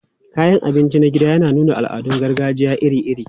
Kayan abinci na gida yana nuna al'adun gargajiya iri-iri.